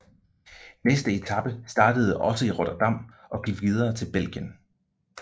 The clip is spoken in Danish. Næste etape startede også i Rotterdam og gik videre til Belgien